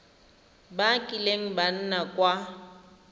ba kileng ba nna kwa